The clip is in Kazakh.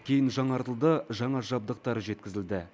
кейін жаңартылды жаңа жабдықтар жеткізілді